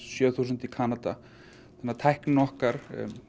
sjö þúsund í Kanada þannig að tæknina okkar